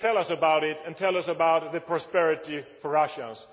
Tell us about it and tell us about the prosperity for Russians.